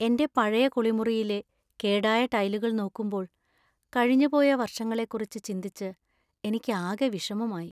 എന്‍റെ പഴയ കുളിമുറിയിലെ കേടായ ടൈലുകൾ നോക്കുമ്പോൾ, കഴിഞ്ഞുപോയ വർഷങ്ങളെക്കുറിച്ച് ചിന്തിച്ച് എനിക്ക് ആക വിഷമമായി.